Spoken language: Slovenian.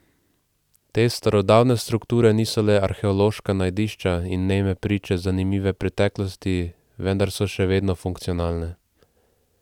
Te starodavne strukture niso le arheološka najdišča in neme priče zanimive preteklosti, vendar so še vedno funkcionalne.